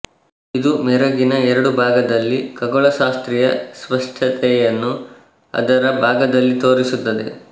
ಇದು ಮೆರಗಿನ ಎರಡು ಭಾಗದಲ್ಲಿ ಖಗೋಳಶಾಸ್ತ್ರೀಯ ಸ್ಪಷ್ಟತೆಯನ್ನು ಅದರ ಭಾಗದಲ್ಲಿ ತೋರಿಸುತ್ತದೆ